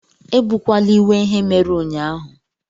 Ebukwala iwe ihe mere ụnyaahụ